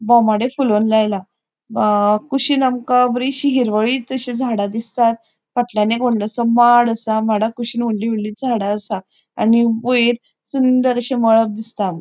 बोमाडे फूलोन लायला अ कुशीन आमका बोरिशी हिरवळीतशी जडा दिसतात फाटल्यान एक वोडलोसो माड़ आसा माडाकुशीन वोडली वोडली झाडा आसा आणि वयर सुंदर अशे मळभ दिसता आमका.